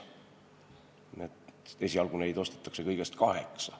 Nii et esialgu neid kaameraid ostetakse kõigest kaheksa.